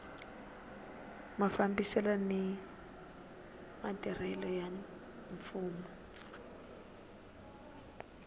mafambisele ni ntirho wa mfumo